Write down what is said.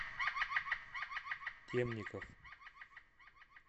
темников